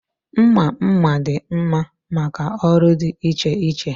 Mma mma dị mma maka ọrụ dị iche iche.